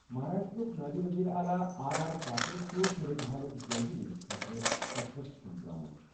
مہاراشٹرٛاہُک نٲیِب ؤزیٖرِ اعلیٰ آر آر پاٹِل چُھ صوٗرت حالُک جٲیزٕ نِنہِ خٲطرٕ قصبس کُن درٛامُت۔